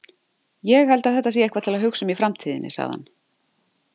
Ég held að þetta sé eitthvað til að hugsa um í framtíðinni, sagði hann.